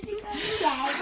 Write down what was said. Gəldik, gəldik.